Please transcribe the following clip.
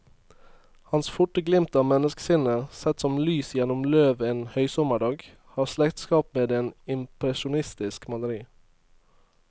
Hans forte glimt av menneskesinnet, sett som lys gjennom løv en høysommerdag, har slektskap med et impresjonistisk maleri.